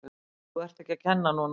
Þú ert ekki að kenna núna!